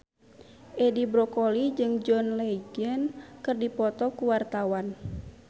Edi Brokoli jeung John Legend keur dipoto ku wartawan